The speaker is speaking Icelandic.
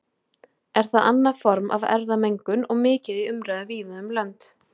Er það annað form af erfðamengun og mikið í umræðu víða um lönd.